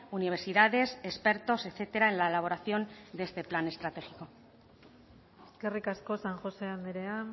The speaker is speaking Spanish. universidades expertos etcétera en la elaboración de este plan estratégico eskerrik asko san josé andrea